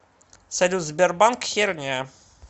салют сбербанк херня